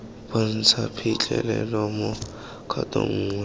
bontsha phitlhelelo mo kgatong nngwe